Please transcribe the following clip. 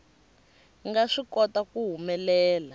nga swi kota ku humelela